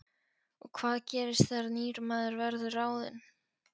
Og hvað gerist þegar nýr maður verður ráðinn?